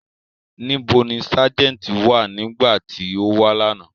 Nibo ni Sájẹ̀ntì wa nigbati o wa lana?